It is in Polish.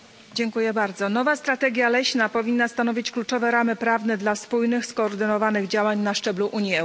Nowa strategia leśna powinna stanowić kluczowe ramy prawne dla spójnych, skoordynowanych działań na szczeblu Unii Europejskiej.